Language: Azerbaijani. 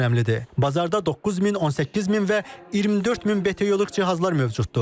Bazarda 9000, 18000 və 24000 BTU-luq cihazlar mövcuddur.